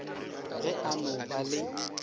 ge a no ba le